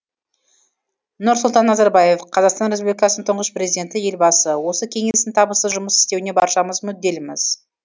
нұрсұлтан назарбаев қазақстан республикасының тұңғыш президенті елбасы осы кеңестің табысты жұмыс істеуіне баршамыз мүдделіміз